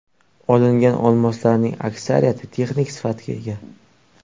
Olingan olmoslarning aksariyati texnik sifatga ega.